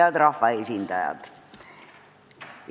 Head rahvaesindajad!